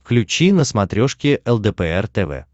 включи на смотрешке лдпр тв